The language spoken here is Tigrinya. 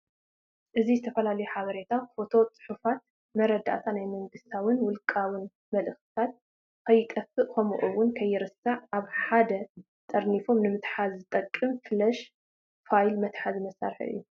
እዚ ዝተፋላለዩ ሐበሬታ፣ ፎቶ፣ ፅሑፋት፣ መረደአታት ናይ መንግስታውን ውልቃውን መለእኽትታት ከይጠፍእ ከምኡ እውን ከይርሳዕ አብ ሐደ ጠርኒፉ ንምሐዝ ዝጠቅም ፍለሽ ፋይል መተሐዚ መሳርሒ እዩ።